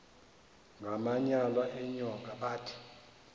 ngamanyal enyoka bathi